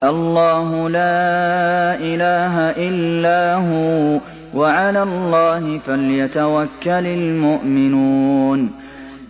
اللَّهُ لَا إِلَٰهَ إِلَّا هُوَ ۚ وَعَلَى اللَّهِ فَلْيَتَوَكَّلِ الْمُؤْمِنُونَ